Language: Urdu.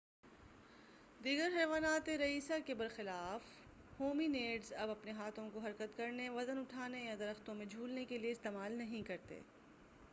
دیگر حیواناتِ رئیسہ کے برخلاف ہومی نیڈز اب اپنے ہاتھوں کو حرکت کرنے وزن اُٹھانے یا درختوں میں جُھولنے کے لیے استعمال نہیں کرتے